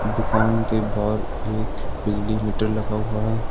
दुकान के बाहर एक बिजली मीटर लगा हुआ है।